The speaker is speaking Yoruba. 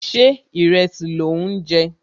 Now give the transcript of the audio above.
Ṣé ìrẹsì lò ń jẹ?